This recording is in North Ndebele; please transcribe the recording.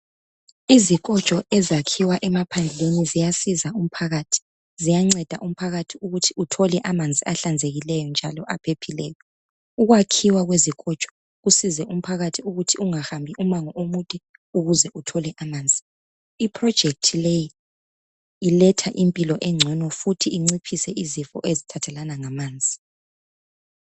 Izikotsho ezakhiwa emaphandleni ziyasiza umphakathi ziyanceda umphakathi ukuthi uthole amanzi ahlanzekileyo njalo aphepheleyo ukwakhiwa kwezikotsho kusize umphakathi ukuthi ungahambi umango omude ukuze uthole amanzi iproject leyi iletha impilo egcono futhi iciphise izifo ezithathelana ngamanzi.